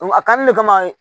A kanni de kama